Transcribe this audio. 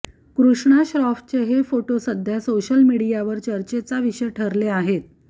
कृष्णा श्रॉफचे हे फोटो सध्या सोशल मीडियावर चर्चेचा विषय ठरले आहेत